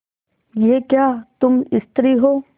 यह क्या तुम स्त्री हो